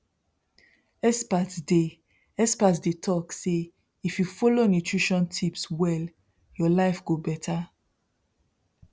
experts dey experts dey talk say if you follow nutrition tips well your life go beta